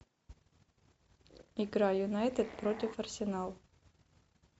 игра юнайтед против арсенал